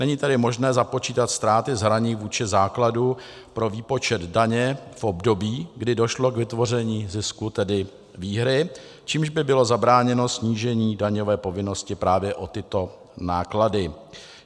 Není tedy možné započítat ztráty z hraní vůči základu pro výpočet daně v období, kdy došlo k vytvoření zisku, tedy výhry, čímž by bylo zabráněno snížení daňové povinnosti právě o tyto náklady.